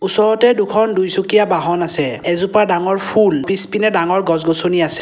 ওচৰতে দুখন দুইচকীয়া বাহন আছে এজোপা ডাঙৰ ফুল পিছপিনে ডাঙৰ গছ-গছনি আছে।